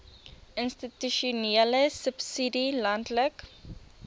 institusionele subsidie landelike